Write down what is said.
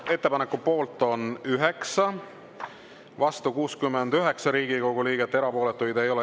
Ettepaneku poolt on 9, vastu 69 Riigikogu liiget, erapooletuid ei ole.